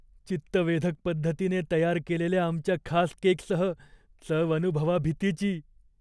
चित्तवेधक पद्धतीने तयार केलेल्या आमच्या खास केकसह चव अनुभवा भीतीची!